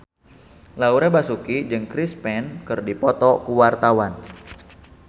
Laura Basuki jeung Chris Pane keur dipoto ku wartawan